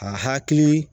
A hakili